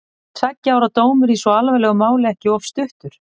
Er tveggja ára dómur í svo alvarlegu máli ekki of stuttur?